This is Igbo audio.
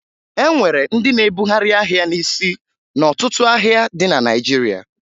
E nwere ndị na-ebugharị ahịa n'isi n'ọtụtụ ahịa dị na Naịjirịa